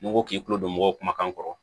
N'i ko k'i tulo don mɔgɔw kumakan kɔrɔ